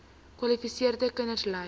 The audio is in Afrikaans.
kwalifiserende kinders ly